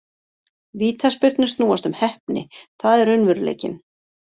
Vítaspyrnur snúast um heppni, það er raunveruleikinn.